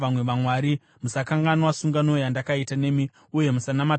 Musakanganwa sungano yandakaita nemi, uye musanamata vamwe vamwari.